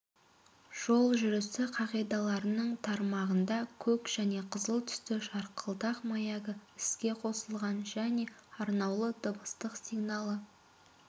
жол жүрісі қағидаларының тармағында көк және қызыл түсті жарқылдақ маягі іске қосылған және арнаулы дыбыстық сигналы